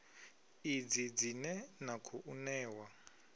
idzi dzine na khou ṋewa